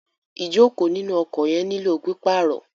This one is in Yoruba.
Ìjókòó inú ọkọ̀ yẹn nílò pípàrọ̀.